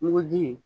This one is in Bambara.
Muguji